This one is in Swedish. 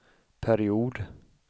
period